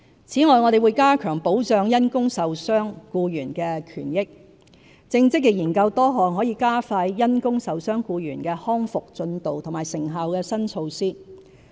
此外，我們會加強保障因工受傷僱員的權益，正積極研究多項可加快因工受傷僱員的康復進度和成效的新措施。